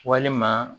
Walima